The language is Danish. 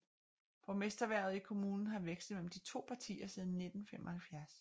Borgmesterhvervet i kommunen har vekslet mellem de to partier siden 1975